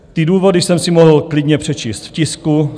Ty důvody jsem si mohl klidně přečíst v tisku.